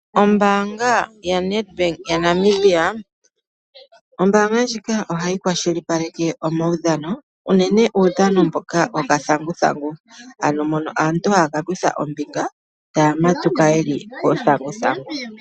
Ombaanga ya NET Bank ya Namibia. Ohayi kwashilipaleke omawudhano unene uudhano mboka wokathanguthangu. Aantu ohaya ka kutha ombinga methigathano lyuuthanguthangu.